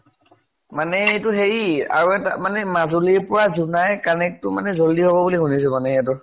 মানে এইটো হেৰি আৰু এটা মানে মাজুলীৰ পৰা জোনাই connect টো মানে জল্দি হব বুলি শুনিছো মানে সিহঁতৰ